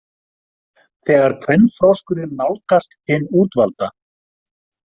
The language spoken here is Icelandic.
Þegar kvenfroskurinn nálgast hinn útvalda.